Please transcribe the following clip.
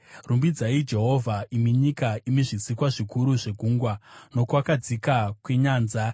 Rumbidzai Jehovha imi nyika, imi zvisikwa zvikuru zvegungwa nokwakadzika kwenyanza,